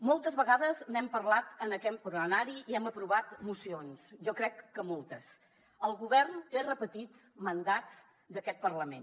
moltes vegades n’hem parlat en aquest plenari i hem aprovat mocions jo crec que moltes el govern té repetits mandats d’aquest parlament